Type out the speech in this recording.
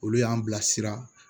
Olu y'an bilasira